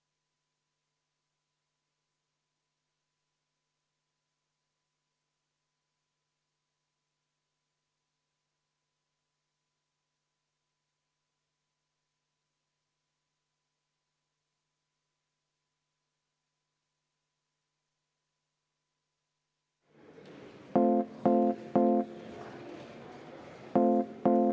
See valitsus tõstab kaitsekulutused 3%‑le sisemajanduse kogutoodangust, mis on meie riigi jaoks ikkagi oluline selleks, et me oleksime kaitstud.